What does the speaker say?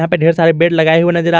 पे ढेर सारे बेड लगाए नजर आ रहे--